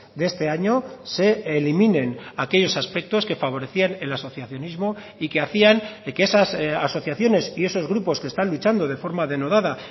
de este año se eliminen aquellos aspectos que favorecían el asociacionismo y que hacían que esas asociaciones y esos grupos que están luchando de forma denodada